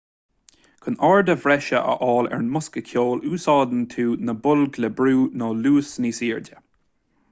chun airde bhreise a fháil ar an mbosca ceoil úsáideann tú na boilg le brú nó luas níos airde